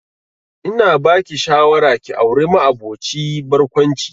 Ina ba ki shawara ki auri ma'aboci barkwanci